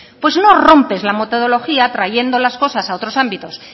pues no rompes la metodología trayendo las cosas a otros ámbitos